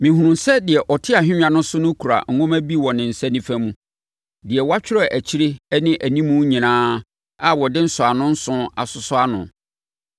Mehunuu sɛ deɛ ɔte ahennwa so no kura nwoma bi wɔ ne nsa nifa mu. Na wɔatwerɛ akyire ne animu nyinaa a wɔde nsɔano nson asosɔ ano.